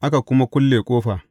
Aka kuma kulle ƙofa.